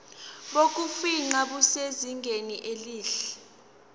bokufingqa busezingeni elihle